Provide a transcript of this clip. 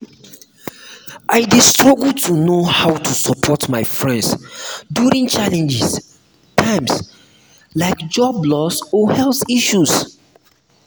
i dey struggle to know how to support my friends during challenging times like job loss or health issues.